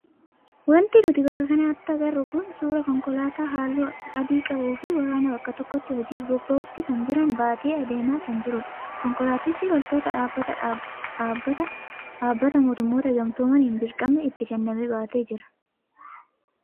Wanti nuti bakka kanatti agarru kun suuraa konkolaataa halluu adii qabuu fi waraana bakka tokkotti hojiif bobba'uutti jiran baatee adeemaa kan jirudha. Konkolaatichi loltoota dhaabbata dhaabbata mootummoota gamtoomaniin dirqamni itti kenname baatee jira.